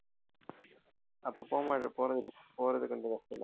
அப்ப போம்போது போறது போறது கொஞ்சம் கஷ்டம்தான்